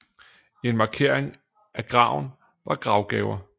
En markering af graven var gravgaver